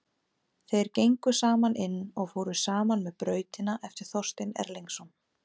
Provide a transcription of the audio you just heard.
Þeir gengu saman inn og fóru saman með Brautina eftir Þorstein Erlingsson.